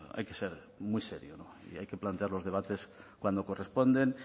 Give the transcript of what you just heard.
hay que ser muy serio y hay que plantear los debates cuando corresponden